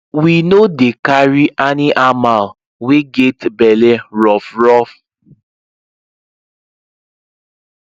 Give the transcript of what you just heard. we no dey carry aniamal wey get belle rough rough